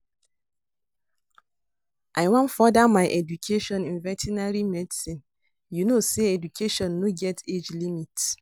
I wan further my education in vertinary medicine, you no say education no get age limit